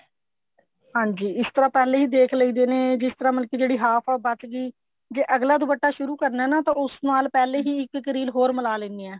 ਹਾਂਜੀ ਇਸ ਤਰ੍ਹਾਂ ਪਹਿਲੇ ਹੀ ਦੇਖ ਲਈਦੇ ਨੇ ਜਿਸ ਤਰ੍ਹਾਂ ਮਤਲਬ ਕੀ half ਬਚ ਗਈ ਜੇ ਅੱਗਲਾ ਦੁਪੱਟਾ ਸ਼ੁਰੂ ਕਰਨਾ ਹੈ ਨਾ ਉਸ ਨਾਲ ਪਹਿਲੇ ਹੀ ਇੱਕ ਇੱਕ ਰੀਲ ਹੋਰ ਮਿਲਾ ਲੈਨੇ ਐ